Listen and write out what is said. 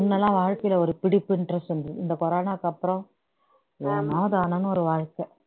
முன்னெல்லாம் வாழ்க்கையில ஒரு பிடிப்பு interest இருந்தது இந்த கொரோனாவுக்கு அப்புறம் ஏனோ தானோன்னு ஒரு வாழ்க்கை